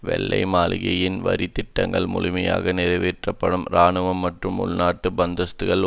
வெள்ளை மாளிகையின் வரித்திட்டங்கள் முழுமையாக நிறைவேற்றப்படும் இராணுவம் மற்றும் உள்நாட்டு பந்தோபஸ்து